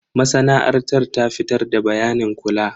Masana'antar ta fitar da bayanin kula.